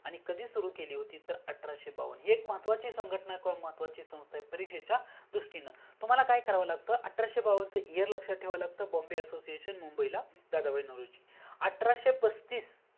आणि कधी सुरू केली होती तर अठराशे बावन्न ही एक महत्वाची संघटना आहे किवा महत्वाची संघटना आहे परीक्षेच्या दृस्तीने तुम्हाला काय करावा लागतं अठराशे बावन्न च year लक्ष्यात ठेवाव लागतं Bombay Assosiation मुंबई ला दादाबाई नवरोजी अठराशे पस्तीस